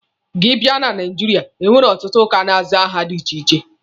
Gị bịa na Naijiria, enwere ọtụtụ ụka na-aza aha dị iche iche.